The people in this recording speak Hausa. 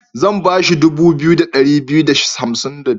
Zan ba shi dubu biyu da ɗari biyu da hansim da ɗaya.